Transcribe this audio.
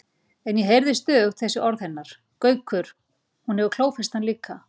En ég heyrði stöðugt þessi orð hennar: Gaukur, hún hefur klófest hann líka